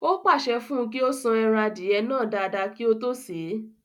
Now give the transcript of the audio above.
O pàṣẹ fún un kí ó san ẹran Adìẹ náà dáadáa kí ó tó sè é